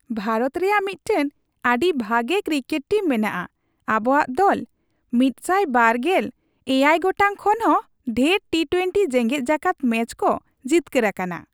ᱵᱷᱟᱨᱚᱛ ᱨᱮᱭᱟᱜ ᱢᱤᱫᱴᱟᱝ ᱟᱹᱰᱤ ᱵᱷᱟᱜᱮ ᱠᱨᱤᱠᱮᱴ ᱴᱤᱢ ᱢᱮᱱᱟᱜᱼᱟ ᱾ ᱟᱵᱚᱣᱟᱜ ᱫᱚᱞ ᱑᱒᱗ ᱜᱚᱴᱟᱝ ᱠᱷᱚᱱ ᱦᱚᱸ ᱰᱷᱮᱨ ᱴᱤᱼᱴᱳᱣᱮᱱᱴᱤ ᱡᱮᱜᱮᱫ ᱡᱟᱠᱟᱛ ᱢᱮᱪ ᱠᱚ ᱡᱤᱛᱠᱟᱹᱨ ᱟᱠᱟᱱᱟ ᱾